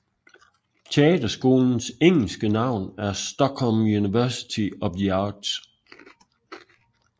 Teaterskolens engelske navn er Stockholm University of the Arts